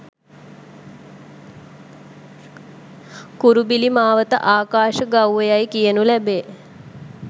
කුරුබිලි මාවත ආකාශ ගව්ව යැයි කියනු ලැබේ.